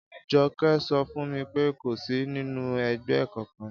Jo̩ké̩ so̩ fún mi pé kò sí nínú e̩gbé̩ kankan